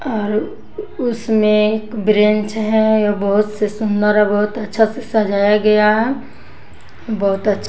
और उसमें एक ब्रेंच है वो बहुत से सुंदर और बहोत अच्छा से सजाया गया है बहोत अच्छा--